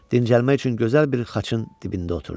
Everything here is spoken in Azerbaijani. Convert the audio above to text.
Dincəlmək üçün gözəl bir xaçın dibində oturdu.